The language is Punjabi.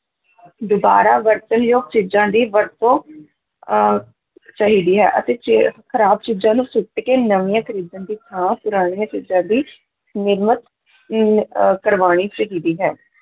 ਦੁਬਾਰਾ ਵਰਤਣਯੋਗ ਚੀਜਾਂ ਦੀ ਵਰਤੋਂ ਅਹ ਚਾਹੀਦਾ ਹੈ ਅਤੇ ਚ~ ਖ਼ਰਾਬ ਚੀਜਾਂ ਨੂੰ ਸੁੱਟ ਕੇ ਨਵੀਂਆਂ ਖਰੀਦਣ ਦੀ ਥਾਂ ਪੁਰਾਣੀਆਂ ਚੀਜ਼ਾਂ ਦੀ ਨਿਰਮਤ ਨੂੰ ਅਹ ਕਰਵਾਉਣੀ ਚਾਹੀਦੀ ਹੈ।